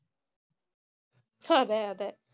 ഹതെ അതെ